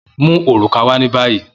Mu oruka wa ni bayi!